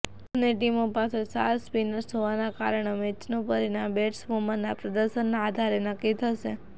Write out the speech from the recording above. બંને ટીમો પાસે સાર સ્પિનર્સ હોવાના કારણે મેચનું પરિણામ બેટ્સ વુમનના પ્રદર્શનના આધારે નક્કી થશે